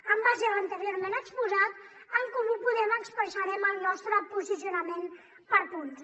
en base a l’anteriorment exposat en comú podem expressarem el nostre posicionament per punts